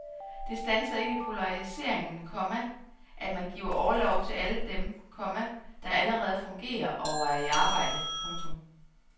Det standser ikke polariseringen, komma at man giver orlov til alle dem, komma der allerede fungerer og er i arbejde. punktum